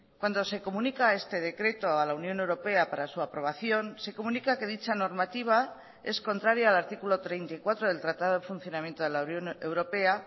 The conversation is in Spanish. cuando se comunica este decreto a la unión europea para su aprobación se comunica que dicha normativa es contraria al artículo treinta y cuatro del tratado de funcionamiento de la unión europea